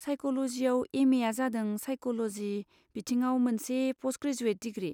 साइक'ल'जिआव एम एआ जादों साइक'ल'जि बिथिङाव मोनसे प'स्टग्रेजुएट डिग्रि।